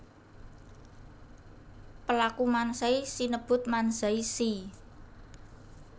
Pelaku Manzai sinebut Manzai shi